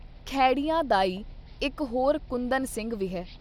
ਖੈੜਿਆਂ ਦਾ ਈ ਇੱਕ ਹੋਰ ਕੁੰਦਨ ਸਿੰਘ ਵੀ ਹੈ।